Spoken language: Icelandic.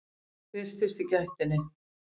Birtist í gættinni.